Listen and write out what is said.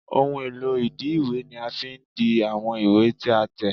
Ohun èlò ìdi ìwé ni a fi n di àwọn ìwé tí a tẹ̀